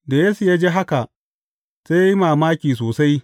Da Yesu ya ji haka, sai ya yi mamaki sosai.